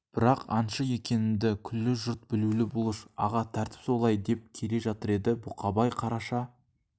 бірақ аңшы екенімді күллі жұрт білулі бұлыш аға тәртіп солай деп келе жатыр еді бұқабай қараша